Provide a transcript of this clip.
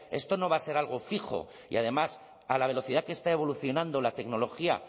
esto no va a ser algo fijo y además a la velocidad que está evolucionando la tecnología